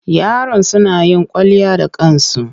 Yaron suna yin kwalliya da kansu.